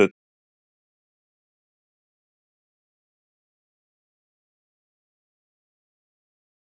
Þóra Kristín Ásgeirsdóttir: Þið eruð líka að bera ykkur saman við lækna?